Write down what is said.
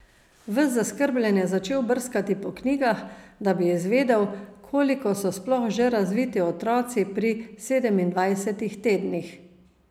Ves zaskrbljen je začel brskati po knjigah, da bi izvedel, koliko so sploh že razviti otroci pri sedemindvajsetih tednih.